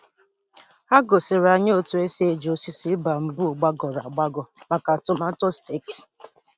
Ha gosiri anyị otu esi eji osisi bamboo gbagọrọ agbagọ maka tomato staked.